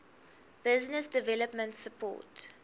business development support